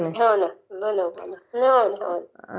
हो ना हो